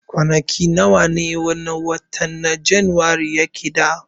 Kwanaki nawa ne wannan watan na janairu ke da